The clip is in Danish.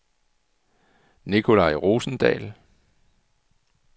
Nicolai Rosendahl